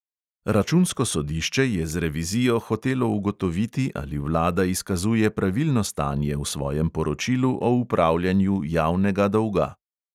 Računsko sodišče je z revizijo hotelo ugotoviti, ali vlada izkazuje pravilno stanje v svojem poročilu o upravljanju javnega dolga.